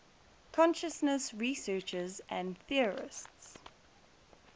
consciousness researchers and theorists